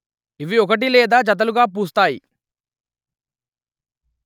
ఇవి ఒకటి లేదా జతలుగా పూస్తాయి